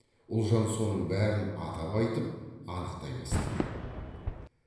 ұлжан соның бәрін атап айтып анықтай бастаған